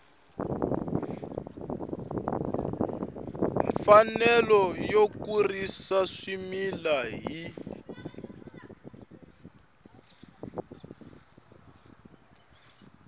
mfanelo yo kurisa swimila hi